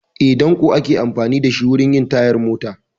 Eh, ɗanko ake amfani da shi wurin yin tayar mota